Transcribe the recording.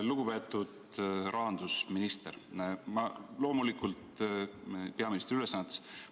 Lugupeetud rahandusminister peaministri ülesannetes!